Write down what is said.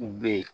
U be yen